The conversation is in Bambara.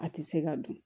A tɛ se ka dun